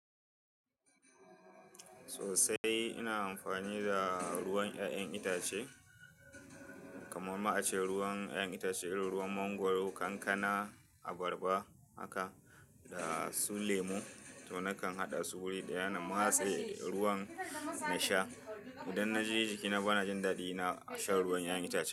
Sosai ina amfani da ruwan ƴaƴan itace, kamar ma a ce ruwan ƴaƴan itace, irin ruwan mangwaro, kankana, abarba haka da su lemu. To nakan haɗa su wuri ɗaya na matse ruwan na sha. Idan na ji jiki na ba na jin daɗi, na sha ruwan ƴaƴan itace.